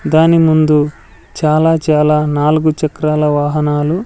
దాని ముందు చాలా చాలా నాలుగు చక్రాల వాహనాలు--